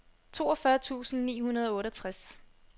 toogfyrre tusind ni hundrede og otteogtres